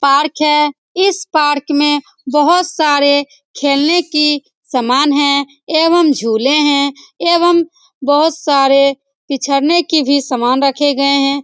Park है इस park में बहुत सारे खेलने की सामान है एवं झूले हैं एवं बहुत सारे की भी सामान रखे गए हैं ।